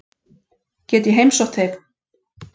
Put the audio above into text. Get ég heimsótt þig?